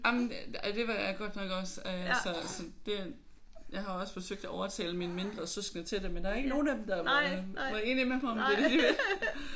Jamen det var jeg godt nok også øh så så det jeg har også forsøgt at overtale mine mindre søskende til det men der er ikke nogen af dem der var var enige med mig om at det er det de vil